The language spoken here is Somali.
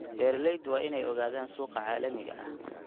Beeraleydu waa inay ogaadaan suuqa caalamiga ah.